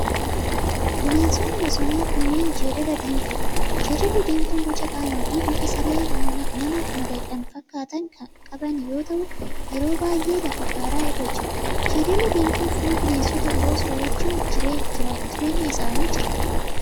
Bineensonni bosonaa kunneen, jeedala diimtuudha. Jeedalli diimtuun boca qaamaa fi bifa saree manaa madaqan fakkaatan kan qaban yoo ta'u, yeroo baay'ee lafa gaaraa irra jiru. Jeedalli diimtuun foon bineensota biroo soorachuun jireenya isaanii jiraatu.